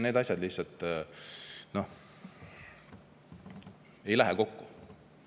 Need asjad lihtsalt ei lähe kokku.